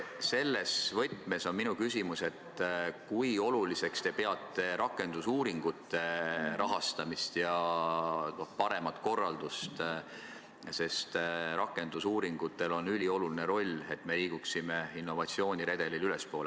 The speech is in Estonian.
Selles võtmes on minu küsimus see, kui oluliseks te peate rakendusuuringute rahastamist ja paremat korraldust, sest rakendusuuringutel on ülioluline roll, et me liiguksime innovatsiooniredelil ülespoole.